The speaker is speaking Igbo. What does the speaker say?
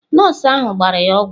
Nọọsụ ahụ gbara ya ọgwụ.